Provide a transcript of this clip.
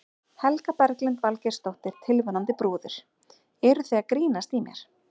Helga Berglind Valgeirsdóttir, tilvonandi brúður: Eruð þið að grínast í mér?